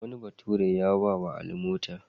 Wani bature ya ba wa Ali mota.